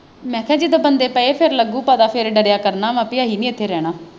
ਮੈਂ ਕਿਹਾ ਜਦੋਂ ਬੰਦੇ ਪਏ ਫਿਰ ਲੱਗਜੂ ਪਤਾ ਫਿਰ ਡਰਿਆ ਕਰਨਾ ਵਾ ਵੀ ਅਸੀਂ ਨਹੀਂ ਉੱਥੇ ਰਹਿਣਾ।